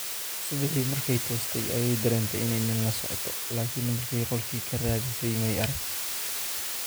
Subixii markay toostay ayay dareentay inay nin la socoto, laakiin markay qolkii ka raadisay may arag.